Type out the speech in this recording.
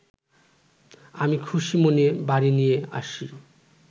আমি খুশিমনে বাড়ি নিয়ে আসি